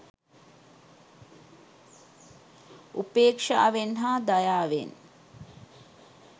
උපේක්ෂාවෙන් හා දයාවෙන්.